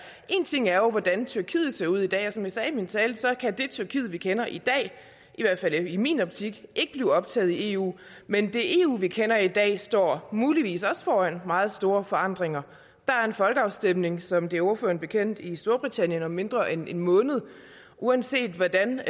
en ting er jo hvordan tyrkiet ser ud i dag og som jeg sagde i min tale så kan det tyrkiet vi kender i dag i hvert fald i min optik ikke blive optaget i eu men det eu vi kender i dag står muligvis også foran meget store forandringer der er en folkeafstemning som det er ordføreren bekendt i storbritannien om mindre end en måned uanset hvordan